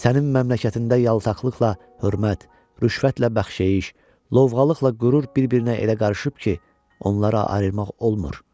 Sənin məmləkətində yaltaqlıqla hörmət, rüşvətlə bəxşeyiş, lovğalıqla qürur bir-birinə elə qarışıb ki, onları ayırmaq olmur.